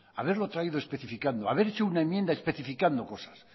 haberlo traído especificando haber hecho una enmienda especificando cosas